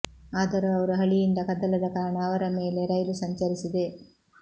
ಆದರೂ ಅವರು ಹಳಿಯಿಂದ ಕದಲದ ಕಾರಣ ಅವರ ಮೇಲೆ ರೈಲು ಸಂಚರಿಸಿದೆ